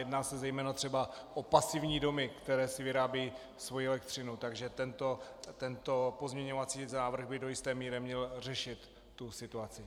Jedná se zejména třeba o pasivní domy, které si vyrábějí svoji elektřinu, takže tento pozměňovací návrh by do jisté míry měl řešit tu situaci.